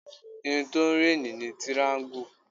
Irun tó ń réènì ni tiraańgù